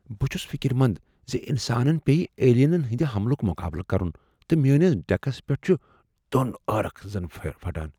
بہٕ چُھس فکرمند زِ انسانن پییہٕ ایلینن ہندِ حملُک مقابلہٕ کرُن تہٕ میٲنس ڈیكس پیٹھ چُھ توٚن عٲرق زن پھٹان۔